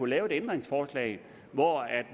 lave et ændringsforslag hvor